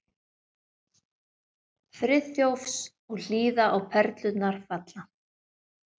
Friðþjófs og hlýða á perlurnar falla.